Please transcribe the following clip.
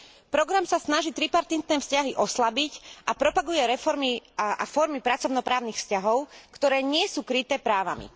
Program sa snaží tripartitné vzťahy oslabiť a propaguje reformy a formy pracovno právnych vzťahov, ktoré nie sú kryté právami.